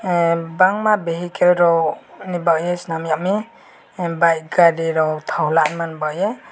um bangma vehicle rok baiye swnamyami em bike gari rok thok naharnani baiye.